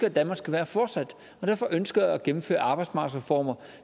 at danmark skal være fortsat og derfor ønsker jeg at gennemføre arbejdsmarkedsreformer